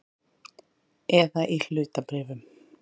Eða í hlutabréfum.